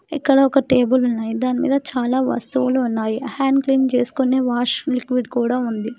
ఇక్కడ ఒక టేబుల్ ఉన్నాయి దాని మీద చాలా వస్తువులు ఉన్నాయీ హ్యండ్ క్లీన్ చేసుకునే వాష్ లిక్విడ్ కూడా ఉంది.